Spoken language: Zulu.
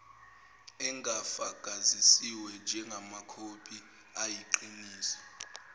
engafakazisiwe njengamakhophi ayiqiniso